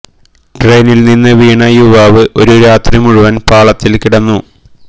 ട്രെയിനില് നിന്നു വീണ യുവാവ് ഒരു രാത്രി മുഴുവൻ പാളത്തിൽ കിടന്നു